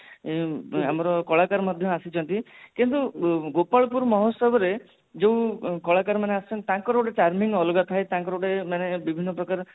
ଆମର କଳାକାର ମଧ୍ୟ ଆସିଛନ୍ତି କିନ୍ତୁ ଗୋପାଳ ପୁର ମହୋଚ୍ଚବ ରେ ଯୋଉ କଳା କାର ମାନେ ଆସନ୍ତି ତାଙ୍କର ଗୋଟେ timing ଅଲଗା ଥାଏ ତାଙ୍କର ଗୋଟେ ବିଭିନ୍ନ ପ୍ରକାର